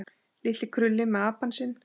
Litli krulli með apann sinn.